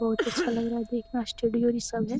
बहुत अच्छा लग रहा है। देख ना स्टूडियो भी सब है।